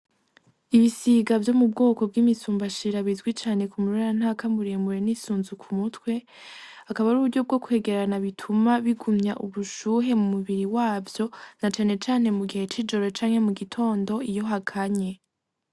Ibisiga vyo mu bwoko vyimi bwimisumbashira bwizwi cane kumurerentaka n'isunzu ku mutwe akaba ari uburyo bwo kwegerana bituma bigumya ubushuhe mumubiri wavyo na cane cane mu gihe cijoro canke mugitondo iyo hakanye.